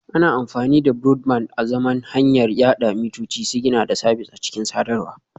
Ana amfani da Broadband azaman hanyar yada mitoci, sigina da sabis a cikin sadarwa